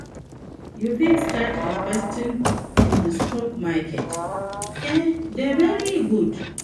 you fit start investing in di stock market, e dey very good.